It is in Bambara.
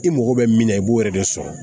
I mago bɛ min na i b'o yɛrɛ de sɔrɔ